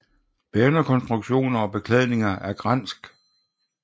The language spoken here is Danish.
Bærende konstruktioner og beklædninger er svensk gran